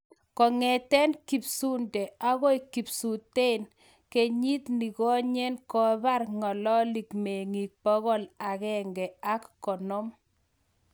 kongeten kipsuunte agoi kipsuunteen kenyit negonyen kopar Ngelelik mengik 150